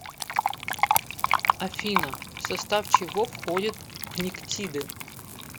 афина в состав чего входит пниктиды